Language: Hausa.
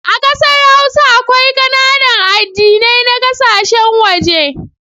A kasar hausa, akwai kananan addinai na kasashen waje.